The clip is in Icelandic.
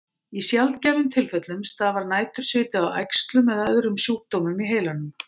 Í sjaldgæfum tilfellum stafar nætursviti af æxlum eða öðrum sjúkdómum í heilanum.